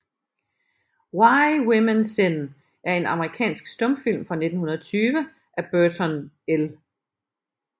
Why Women Sin er en amerikansk stumfilm fra 1920 af Burton L